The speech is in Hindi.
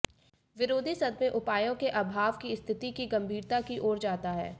विरोधी सदमे उपायों के अभाव की स्थिति की गंभीरता की ओर जाता है